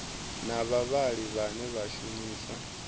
na vhavhali vhane vha shumisa